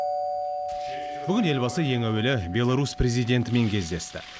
бүгін елбасы ең әуелі беларусь президентімен кездесті